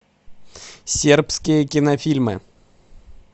сербские кинофильмы